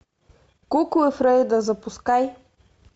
куклы фрейда запускай